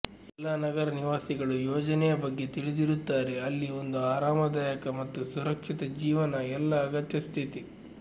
ಎಲ್ಲಾ ನಗರ ನಿವಾಸಿಗಳು ಯೋಜನೆಯ ಬಗ್ಗೆ ತಿಳಿದಿರುತ್ತಾರೆ ಅಲ್ಲಿ ಒಂದು ಆರಾಮದಾಯಕ ಮತ್ತು ಸುರಕ್ಷಿತ ಜೀವನ ಎಲ್ಲಾ ಅಗತ್ಯ ಸ್ಥಿತಿ